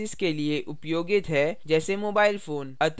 अतः इस tutorial में हमने सीखा